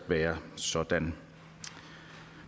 være sådan